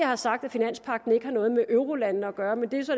har sagt at finanspagten ikke har noget med eurolandene at gøre men det er så